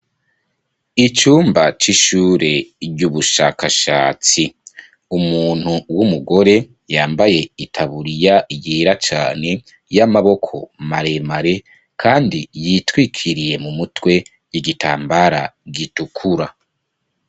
Icumba c'ishure vy'ubushakashatsi. Umuntu w'umugore yambaye itaburiya yera cane kandi yitwikiriye mu mutwe . Igitambara gitukura.